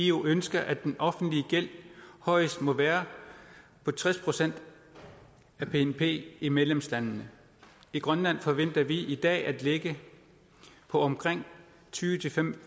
eu ønsker at den offentlige gæld højst må være på tres procent af bnp i medlemslandene i grønland forventer vi i dag at ligge på omkring tyve til fem